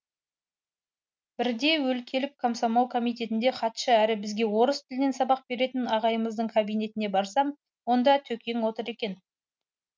бірде өлкелік комсомол комитетінде хатшы әрі бізге орыс тілінен сабақ беретін ағайымыздың кабинетіне барсам онда төкең отыр екен